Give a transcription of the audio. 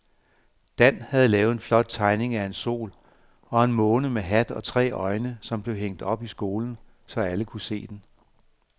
Dan havde lavet en flot tegning af en sol og en måne med hat og tre øjne, som blev hængt op i skolen, så alle kunne se den.